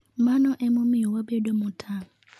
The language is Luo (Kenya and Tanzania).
Mano e momiyo wabedo motang'